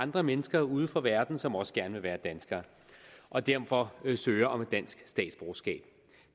andre mennesker ude fra verden som også gerne vil være danskere og derfor søger om et dansk statsborgerskab